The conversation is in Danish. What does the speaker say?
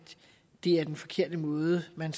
er den forkerte måde man